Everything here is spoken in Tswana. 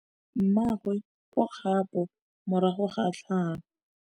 Mmagwe o kgapô morago ga tlhalô.